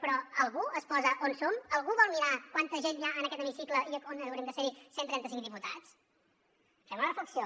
però algú es posa on som algú vol mirar quanta gent hi ha en aquest hemicicle on hauríem de ser hi cent i trenta cinc diputats fem una reflexió